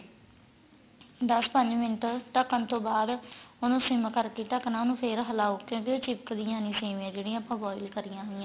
ਦੱਸ ਪੰਜ ਮਿੰਟ ਢਕਣ ਤੋਂ ਬਾਅਦਉਹਨੂੰ ਸਿਮ ਕਰਕੇ ਦਕਣਾ ਉਹਨੂੰ ਫੇਰ ਹਲਾਉ ਕਿਉਂਕਿ ਉਹ ਚਿਪਕਦੀਆਂ ਨੀਂ ਸੇਮੀਆਂ ਜਿਹੜੀਆਂ ਆਪਾਂ boil ਕਾਰੀਆਂ ਹੋਈਆਂ